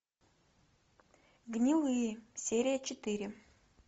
гнилые серия четыре